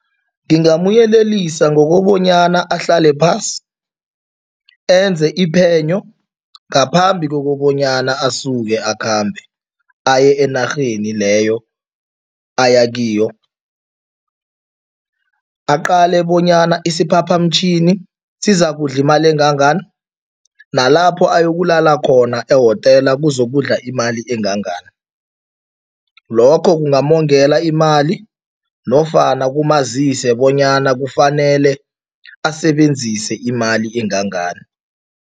Ngingamyelelisa ngokobanyana ahlale phasi enze iphenyo ngaphambi kokobanyana asuke akhambe, aye enarheni leyo ayakiyo. Aqale bonyana isiphaphamtjhini sizakudla imali engangani nalapho ayokulala khona ehotela kuzokudla imali engangani, lokho kungamongela imali nofana kamazise bonyana kufanele asebenzise imali engangani.